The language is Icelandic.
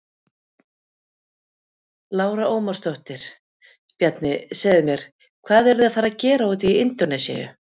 Lára Ómarsdóttir: Bjarni, segðu mér, hvað eru þið að fara að gera úti í Indónesíu?